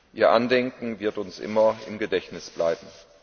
Ihr Andenken wird uns immer im Gedächtnis bleiben.